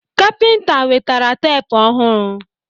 Kapịnta wetara teepu ọhụrụ